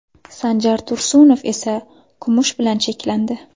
Sanjar Tursunov esa kumush bilan cheklandi.